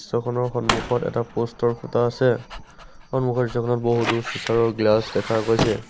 Photo খনৰ সন্মুখত এটা প'ষ্ট ৰ খুঁটা আছে সন্মুখৰ দৃশ্যখনত বহুতো চিঁচাৰৰ গ্লাচ দেখা গৈছে।